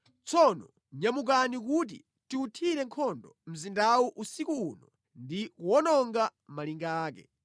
Tsono nyamukani kuti tiwuthire nkhondo mzindawu usiku uno ndi kuwononga malinga ake!”